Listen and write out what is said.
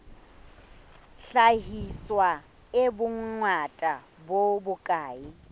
hlahiswa e bongata bo bokae